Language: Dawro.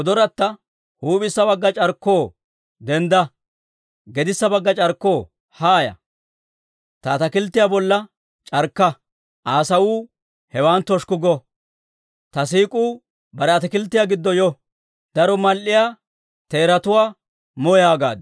Huup'issa bagga c'arkkoo, dendda! Gedissa bagga c'arkkoo, haaya! Ta ataakilttiyaa bolla c'arkka! Aa sawuu hewan toshukku go. Ta siik'uu bare ataakilttiyaa giddo yo. Daro mal"iyaa teeratuwaa mo yaagaaddu.